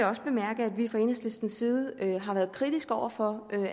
også bemærke at vi fra enhedslistens side har været kritiske over for